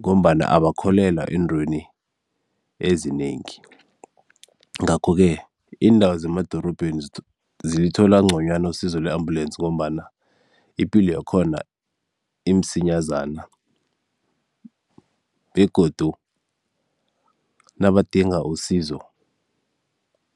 ngombana abakholelwa eentweni ezinengi. Ngakho-ke iindawo zemadorobheni zilithola nconywana usizo lwe-ambulensi ngombana ipilo yakhona imsinyazana begodu nabadinga usizo